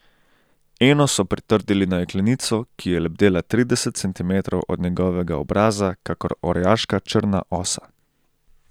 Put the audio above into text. Eno so pritrdili na jeklenico, ki je lebdela trideset centimetrov od njegovega obraza kakor orjaška črna osa.